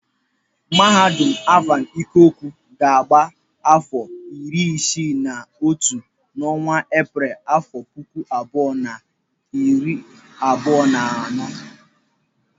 Mahadum Alvan Ikoku ga-agba afọ iri isii na otu n'ọnwa Epreel afọ puku abụọ na iri abụọ na anọ.